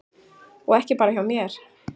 Og ekki bara hjá mér.